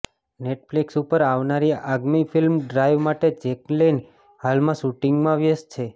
Netflix ઉપર આવનારી આગામી ફિલ્મ ડ્રાઈવ માટે જેકલિન હાલમાં શૂટિંગમાં વ્યસ્ત છે